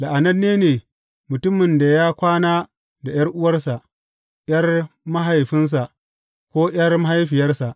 La’ananne ne mutumin da ya kwana da ’yar’uwarsa, ’yar mahaifinsa ko ’yar mahaifiyarsa.